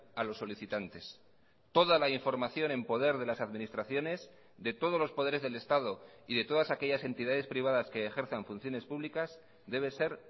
a los solicitantes toda la información en poder de las administraciones de todos los poderes del estado y de todas aquellas entidades privadas que ejerzan funciones públicas debe ser